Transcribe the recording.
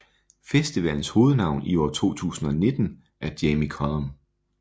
Festivalens hovednavn i år 2019 er Jamie Cullum